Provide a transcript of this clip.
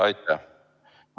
Aitäh!